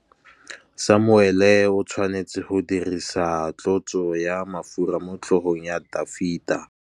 Samuele o tshwanetse go dirisa tlotsô ya mafura motlhôgong ya Dafita.